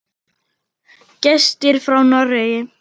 Gestir frá Noregi.